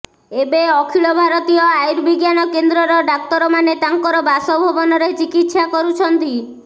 ଏବେ ଅଖିଳ ଭାରତୀୟ ଆର୍ୟୁ ବିଜ୍ଞାନ କେନ୍ଦ୍ରର ଡାକ୍ତରମାନେ ତାଙ୍କର ବାସଭବନରେ ଚିକିତ୍ସା କରୁଛନ୍ତି